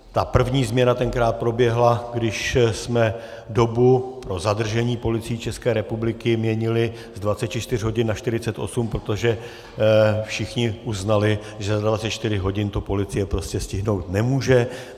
Ta první změna tenkrát proběhla, když jsme dobu pro zadržení Policií České republiky měnili z 24 hodin na 48, protože všichni uznali, že za 24 hodin to policie prostě stihnout nemůže.